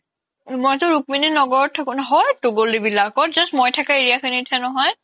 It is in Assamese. মইতো ৰুক্মিনি ন্গৰত থাকো হয়তো গলি বিলাকত just মই থাকা area খিনিতহে নহয়